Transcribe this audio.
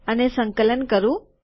અને સંકલન કરું